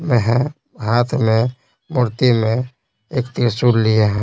में है हाथ में मूर्ति में एक त्रिशूल लिए --